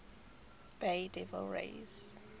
bay devil rays